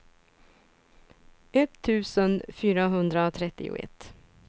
etttusen fyrahundratrettioett